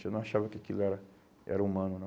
Eu não achava que aquilo era era humano, não.